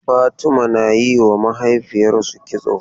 Fatimah na yi wa mahaifiyarsu kitso.